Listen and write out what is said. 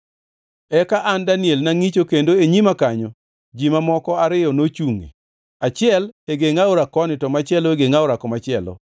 Eka an Daniel nangʼicho, kendo e nyima kanyo ji mamoko ariyo nochungʼe, achiel e geng aora koni to machielo e geng aora komachielo.